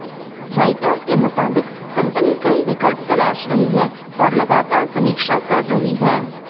writers के मुताबिक company कई विकल्प तलाश रही है और लगातार समीक्षा कर रही है